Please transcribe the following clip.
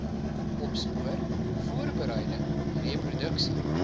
opspoor voorbereiding reproduksie